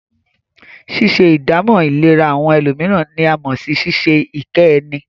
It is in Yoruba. Ṣíṣe ìdámọ̀ ìlera àwọn ẹlòmíràn ní a mọ̀ sí ṣíṣe ìkẹ́ ẹni.